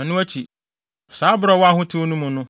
ɛno akyi, saa bere a ɔwɔ ahotew no mu no,